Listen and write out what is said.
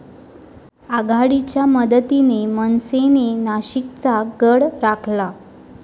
आघाडीच्या मदतीने मनसेने नाशिकचा गड राखला